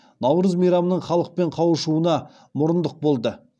наурыз мейрамының халықпен қауышуына мұрындық болды